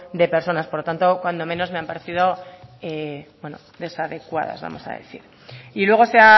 de personas por lo tanto cuando menos me ha parecido desadecuada vamos a decir y luego se